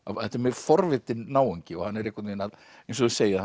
þetta er mjög forvitinn náungi og hann er einhvern veginn að eins og þið segið